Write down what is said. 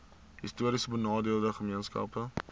histories benadeelde gemeenskappe